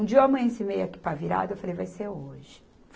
Um dia eu amanheci meia com a pá virada eu falei, vai ser hoje.